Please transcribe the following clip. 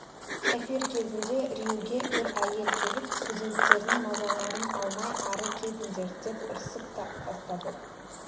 эфир кезінде рьюге бір әйел келіп студенттердің мазаларын алмай ары кетіңдер деп ұрсып та тастады